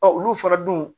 olu fana dun